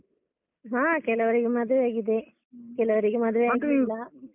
ಹಾ ಕೆಲವರಿಗೆ ಮದ್ವೆ ಆಗಿದೆ ಕೆಲವರಿಗೆ ಆಗಿಲ್ಲ.